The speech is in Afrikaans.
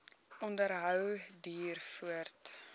onderhou duur voort